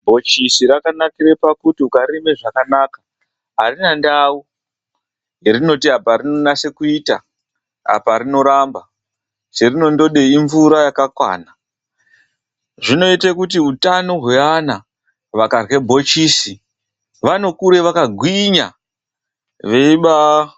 Bhochisi rakanakire pakuti ukaririma zvakanaka arina ndau yarinoti apa rinonase kuita apa rinoramba charinongoda imvura yakakwana zvinoita kuti utano hwevana vakarya bhochisi vanokuree vakagwinya.